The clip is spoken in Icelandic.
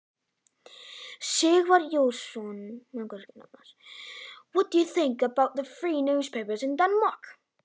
Sighvatur Jónsson: Hvað finnst þér um fríblöðin í Danmörku?